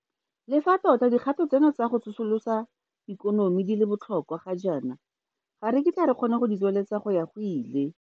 Le fa tota dikgato tseno tsa go tsosolosa ikonomi di le botlhokwa ga jaana, ga re kitla re kgona go di tsweledisa go ya go ile.